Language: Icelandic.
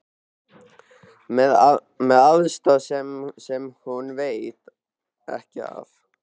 Með aðstoð sem hún veit ekki af.